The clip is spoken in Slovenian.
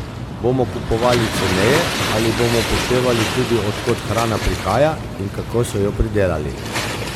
Bomo kupovali ceneje ali bomo upoštevali tudi, od kod hrana prihaja in kako so jo pridelali?